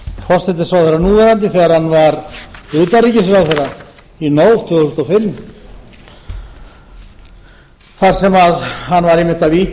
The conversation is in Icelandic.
forsætisráðherra þegar hann var utanríkisráðherra í nóvember tvö þúsund og fimm þar sem hann